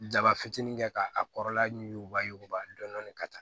Daba fitinin kɛ k'a a kɔrɔla ɲuguba yuguba dɔɔnin ka taa